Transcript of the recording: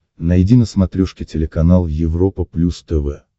найди на смотрешке телеканал европа плюс тв